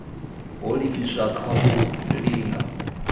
ho livhiswaho kha u linga